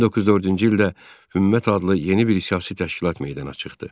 1904-cü ildə Hümmət adlı yeni bir siyasi təşkilat meydana çıxdı.